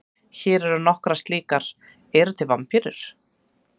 Hér eru nokkrar slíkar: Eru til vampírur?